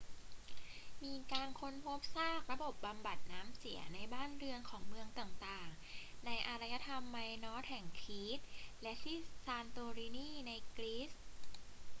มีการค้นพบซากระบบบำบัดน้ำเสียในบ้านเรือนของเมืองต่าง ๆ ในอารยธรรมไมนอสแห่งครีตและที่ซานโตรินีในกรีซ